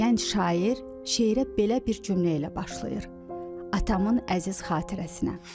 Gənc şair şeirə belə bir cümlə ilə başlayır: Atamın əziz xatirəsinə.